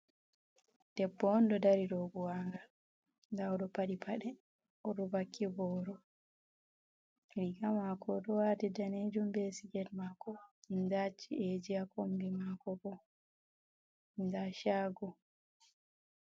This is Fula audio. Debbo on ɗo dari dow buwangal nda oɗo paɗi paɗe, oɗo wakki boro riga mako oɗo wati danejum be siket mako, nda chi'eji ha kombi mako bo nda shago.